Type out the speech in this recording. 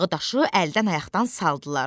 Dağı daşı əldən-ayaqdan saldılar.